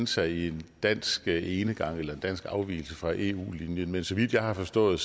sig i en dansk enegang eller dansk afvigelse fra eu linjen men så vidt jeg har forstået